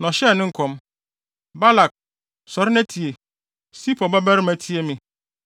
Na ɔhyɛɛ ne nkɔm: “Balak, sɔre na tie; Sipor babarima tie me.